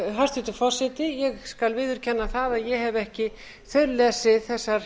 hæstvirtur forseti ég skal viðurkenna það að ég hef ekki þaullesið þessar